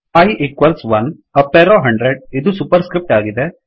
I equals 1 up arrow 100ಇದು super script ಆಗಿದೆ